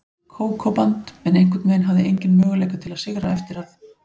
Kókó-band, en einhvern veginn hafði enginn möguleika til að sigra eftir að